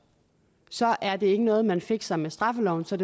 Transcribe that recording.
så er det ikke noget man fikser med straffeloven så